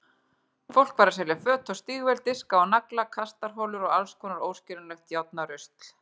Fólk var að selja föt og stígvél, diska og nagla, kastarholur og allskonar óskiljanlegt járnarusl.